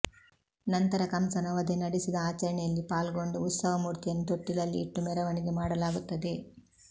ನಂತರ ಕಂಸನ ವಧೆ ನಡೆಸಿದ ಆಚರಣೆಯಲ್ಲಿ ಪಾಲ್ಗೊಂಡು ಉತ್ಸವ ಮೂರ್ತಿಯನ್ನು ತೊಟ್ಟಿಲಲ್ಲಿ ಇಟ್ಟು ಮೆರವಣಿಗೆ ಮಾಡಲಾಗುತ್ತದೆ